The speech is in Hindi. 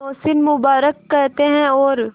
नौशीन मुबारक कहते हैं और